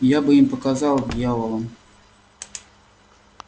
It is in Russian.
я бы им показал дьяволам